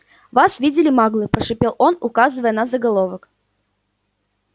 вас видели маглы прошипел он указывая на заголовок